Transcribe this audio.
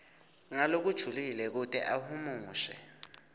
ngalokujulile kute ahumushe